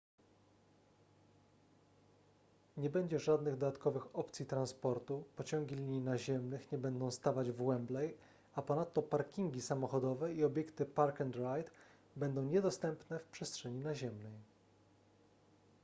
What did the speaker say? nie będzie żadnych dodatkowych opcji transportu pociągi linii naziemnych nie będą stawać w wembley a ponadto parkingi samochodowe i obiekty park-and-ride będą niedostępne w przestrzeni naziemnej